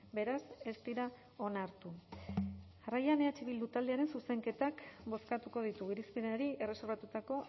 beraz ez dira onartu jarraian eh bilduren zuzenketak bozkatuko ditugu irizpenari erreserbatutako